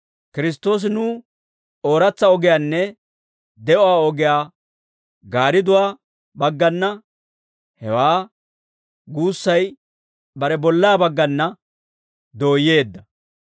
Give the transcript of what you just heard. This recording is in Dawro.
Kiristtoosi nuw ooratsa ogiyaanne de'uwaa ogiyaa gaaridduwaa baggana, hewaa guussay bare bollaa baggana dooyyeedda.